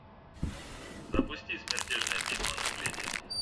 запусти смертельная битва наследие